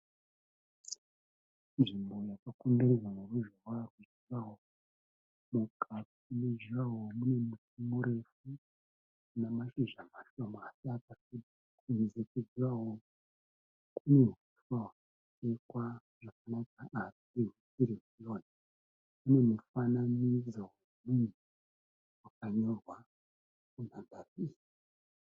Nzvimbo yakakomberedzwa neruzhowa hwejuraho. Mukati mejuraho munemiti murefu unemashizha mashoma asi arimadiki. Kunze kwejuraho kunehuswa hwakachekwa zvakanaka. Kune mufananidzo wemunhu wakanyorwa.